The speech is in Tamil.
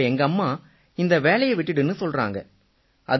இப்ப எங்கம்மா இந்த வேலையை விட்டுடுன்னு சொல்றாங்க